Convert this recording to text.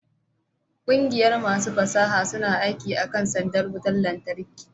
ƙungiyar masu fasaha suna aiki akan sandar wutar lantarki